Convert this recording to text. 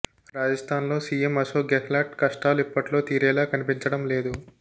రాజస్ధాన్లో CM Ashok Gehlot కష్టాలు ఇప్పట్లో తీరేలా కనిపించడం లేదు